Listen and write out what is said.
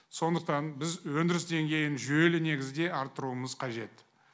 сондықтан біз өндіріс деңгейін жүйелі негізде арттыруымыз қажет